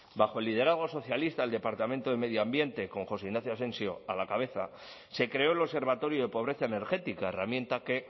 bajo el liderazgo socialista el departamento de medio ambiente con josé ignacio asensio a la cabeza se creó el observatorio de pobreza energética herramienta que